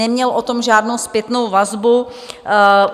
Neměl o tom žádnou zpětnou vazbu.